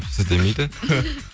сіз демейді